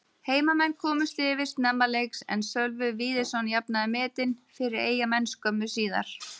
Heimamenn komust yfir snemma leiks en Sölvi Víðisson jafnaði metin fyrir Eyjamenn skömmu síðar.